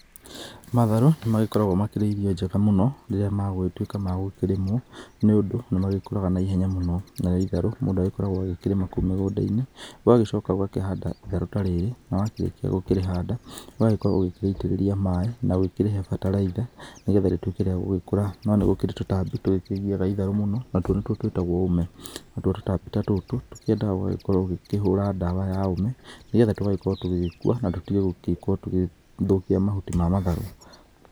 Matharũ, nĩmagĩkoragwo makĩrĩ irio njega mũno rĩrĩa megũgĩtuĩka magũkĩrĩmwo, nĩũndũ nĩmagĩkũraga naihenya mũno. Narĩo itharũ, mũndũ agagĩkĩrĩrĩma kũu mũgũnda-inĩ, ũgagĩcoka ũgakĩhanda itharũ tarĩrĩ, na warĩkia gũkĩrĩhanda, ũgakorwo ũkĩrĩitĩrĩria maĩ, magũkĩrĩhe bataraitha, nĩgetha rĩkorwo rĩagũkũra. No nĩharĩ tũtambi tũrĩa tũkĩgiaga itharũ mũno, na nĩtwo tũĩtagwo ũme. Natuo tũtambi tatũtũ, twendaga ũgagĩkorwo ũkĩhũra ndawa ya ũme, nĩgetha tũgakorwo tũgĩgĩkua. Na tũtige gũkorwo tũgĩthũkia mahuti ma matharũ.